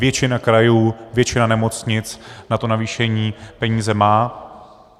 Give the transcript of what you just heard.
Většina krajů, většina nemocnic na to navýšení peníze má.